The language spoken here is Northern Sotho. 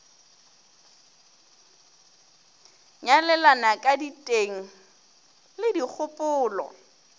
nyalelana ka diteng le dikgopolo